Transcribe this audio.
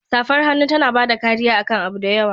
Safar hannu tana bada kariya akan abu da yawa.